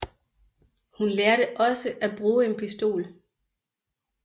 Hun lærte også at bruge en pistol